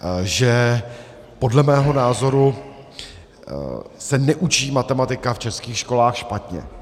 Že podle mého názoru se neučí matematika v českých školách špatně.